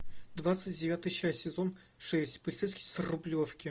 двадцать девятая часть сезон шесть полицейский с рублевки